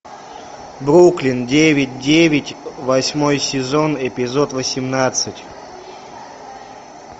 бруклин девять девять восьмой сезон эпизод восемнадцать